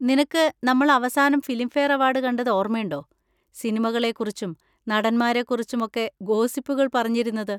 നിനക്ക് നമ്മൾ അവസാനം ഫിലിംഫെയർ അവാർഡ് കണ്ടത് ഓർമയുണ്ടോ? സിനിമകളെ കുറിച്ചും നടന്മാരെ കുറിച്ചും ഒക്കെ ഗോസിപ്പുകൾ പറഞ്ഞിരുന്നത്?